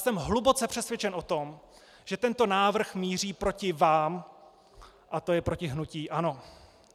Jsem hluboce přesvědčen o tom, že tento návrh míří proti vám - a to je proti hnutí ANO.